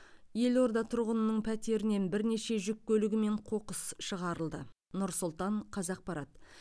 елорда тұрғынының пәтерінен бірнеше жүк көлігімен қоқыс шығарылды нұр сұлтан қазақпарат